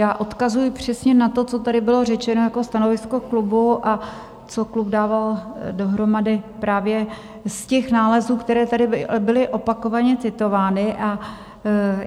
Já odkazuji přesně na to, co tady bylo řečeno jako stanovisko klubu a co klub dával dohromady právě z těch nálezů, které tady byly opakovaně citovány.